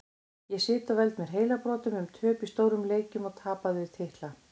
Ég sit og veld mér heilabrotum um töp í stórum leikjum og tapaða titla.